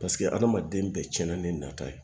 Paseke adamaden bɛɛ cɛnna ni nata ye